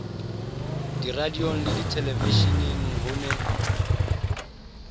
diradiong le dithelevisheneng ho ne